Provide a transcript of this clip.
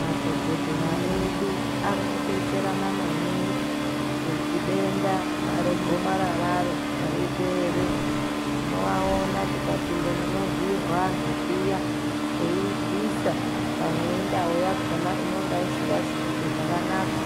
Madhokodheya edu ari kudetsera maningi kuti denda re gomararo ripere tino aona tika pinda muno vhiirwe antu zviya eyi bvisa pamwe endau yakona inonge isingazi kuita zvakanaka